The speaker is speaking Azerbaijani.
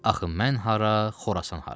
Axı mən hara, Xorasan hara?